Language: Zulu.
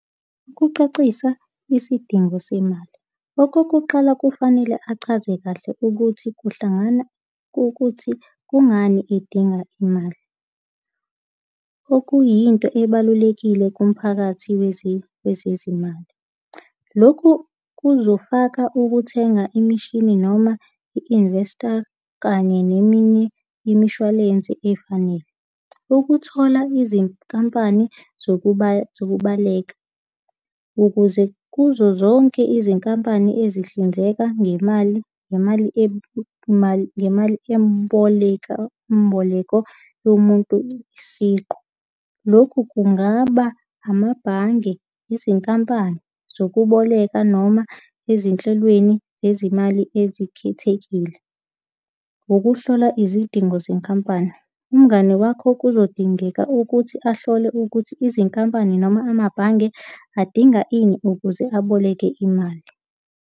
Ukucacisa isidingo semali. Okokuqala kufanele achaze kahle ukuthi kuhlangana, kukuthi kungani edinga imali. Okuyinto ebalulekile kumphakathi wezezimali. Lokhu kuzofaka ukuthenga imishini noma i-nvester kanye neminye imishwalense efanele. Ukuthola izinkampani zokubaleka ukuze kuzo zonke izinkampani ezihlinzeka ngemali ngemali ngemali emboleka, mboleko yomuntu isiqu. Lokhu kungaba amabhange, izinkampani zokuboleka noma ezinhlelweni zezimali ezikhethekile. Ukuhlola izidingo zenkampani. Umngani wakho kuzodingeka ukuthi ahlole ukuthi izinkampani noma amabhange adinga ini ukuze aboleke imali.